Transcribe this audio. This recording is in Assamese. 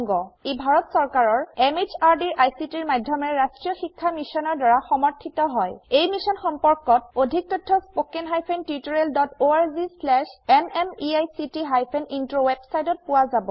ই ভাৰত চৰকাৰৰ MHRDৰ ICTৰ মাধয়মেৰে ৰাস্ত্ৰীয় শিক্ষা মিছনৰ দ্ৱাৰা সমৰ্থিত হয় ই মিশ্যন সম্পৰ্কত অধিক তথ্য spoken hyphen tutorial dot org slash এনএমইআইচিত হাইফেন ইন্ট্ৰ ৱেবচাইটত পোৱা যাব